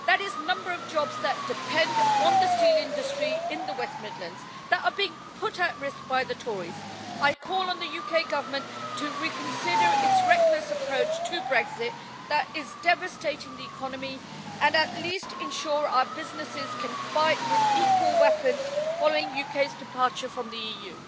That is the number of jobs that depend on the steel industry in the West Midlands that are being put at risk by the Tories. I call on the UK Government to reconsider its reckless approach to Brexit that is devastating the economy, and at least ensure our businesses can fight with equal weapons following the UK's departure from the EU.